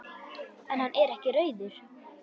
En hann er ekki rauður.